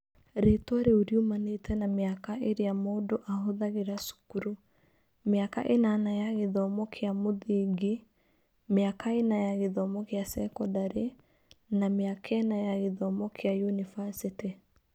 Rĩĩtwa rĩu riumanĩte na mĩaka ĩrĩa mũndũ ahũthagĩra cukuru: mĩaka ĩnana ya gĩthomo kĩa mũthingi, mĩaka ĩna ya gĩthomo kĩa sekondarĩ na mĩaka ĩna ya gĩthomo kĩa yunivasĩtĩ.